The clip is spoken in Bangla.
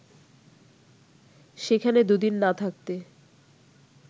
সেখানে দুদিন না থাকতে